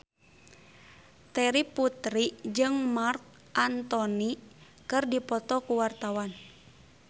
Terry Putri jeung Marc Anthony keur dipoto ku wartawan